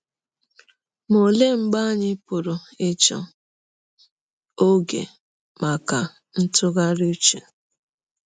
Ma ọlee mgbe anyị pụrụ ịchọta ọge maka ntụgharị ụche?